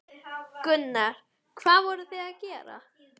Gunnar: Hvað voruð þið að gera?